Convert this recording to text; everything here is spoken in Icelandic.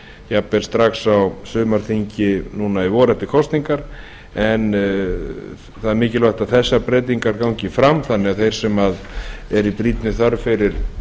jafnvel strax á sumarþingi núna í vor eftir kosningar en það er mikilvægt að þessar breytingar gangi fram þannig að þeir sem eru í brýnni þörf fyrir